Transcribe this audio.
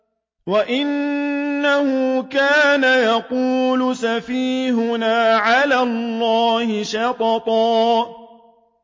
وَأَنَّهُ كَانَ يَقُولُ سَفِيهُنَا عَلَى اللَّهِ شَطَطًا